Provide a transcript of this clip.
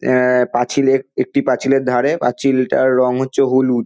আা-আ পাঁচিলের একটি পাঁচিলের ধারে পাঁচিলটার রং হচ্ছে হলুদ।